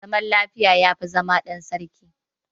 Zama lafiya, ya fi zama ɗan sarki.